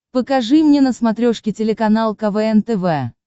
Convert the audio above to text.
покажи мне на смотрешке телеканал квн тв